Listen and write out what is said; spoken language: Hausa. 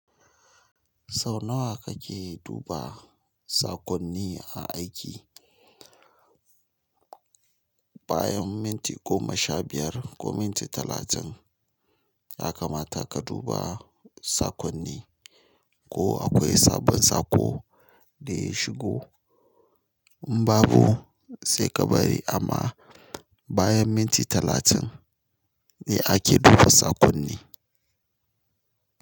Sau nawa kake duba saƙonni a aiki? Bayan minti goma sha biyar ko minti talatin, yaka mata ka duba saƙonni ko akwai sabon saƙo da ya shigo. In babu sai ka bari amma bayan minti talatin ne ake duba saƙonni.